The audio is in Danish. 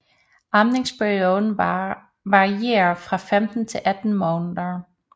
Amningsperioden varierer fra 15 til 18 måneder